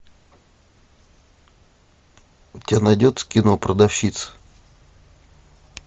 у тебя найдется кино продавщица